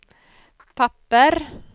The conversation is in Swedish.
papper